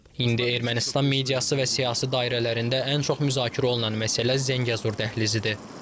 İndi Ermənistan mediası və siyasi dairələrində ən çox müzakirə olunan məsələ Zəngəzur dəhlizidir.